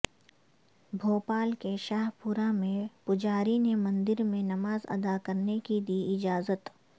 بھوپال کے شاہ پورہ میں پجاری نے مندرمیں نماز اداکرنے کی دی اجازت